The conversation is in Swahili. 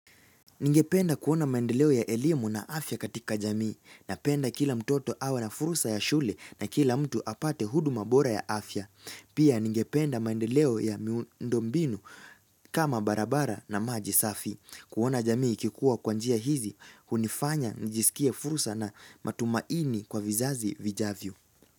Ningependa kuona maendeleo ya elimu na afya katika jamii napenda kila mtoto awe na fursa ya shule na kila mtu apate huduma bora ya afya. Pia ningependa maendeleo ya miundo mbinu kama barabara na maji safi. Kuona jamii ikikuwa kwa njia hizi, hunifanya nijisikie fursa na matumaini kwa vizazi vijavyo.